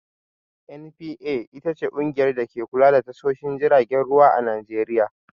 "NPA" ita ce ƙungiyar dake kula da tashoshin jiragen ruwa a Najeriya.